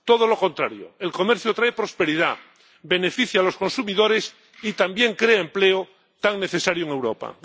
Todo lo contrario, el comercio trae prosperidad, beneficia a los consumidores y también crea empleo, tan necesario en Europa.